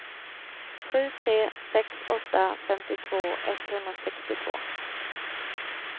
sju tre sex åtta femtiotvå etthundrasextiotvå